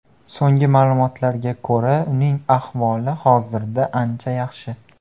So‘nggi ma’lumotlarga ko‘ra, uning ahvoli hozirda ancha yaxshi.